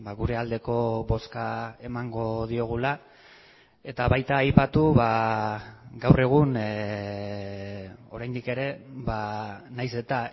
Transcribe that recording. gure aldeko bozka emango diogula eta baita aipatu gaur egun oraindik ere nahiz eta